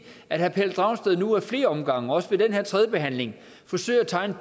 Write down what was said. herre pelle dragsted nu ad flere omgange også ved den her tredje behandling forsøger at tegne